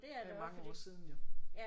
Det er mange år siden jo